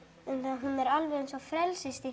hún er alveg eins og